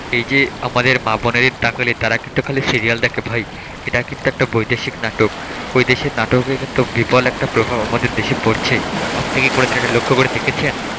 এই যে আমাদের মা বোনেদের তাহলে তার কিন্তু খালি সিরিয়াল দেখে ভাই, এটা কিন্তু একটা বৈদেশিক নাটক, বৈদেশিক নাটকের কিন্তু বিপুল একটা প্রভাব আমাদের দেশে পড়ছে আপনি কি কোনদিন এটা লক্ষ্য করে দেখেছেন?